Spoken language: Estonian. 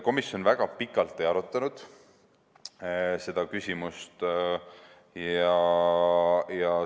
Komisjon väga pikalt seda küsimust ei arutanud.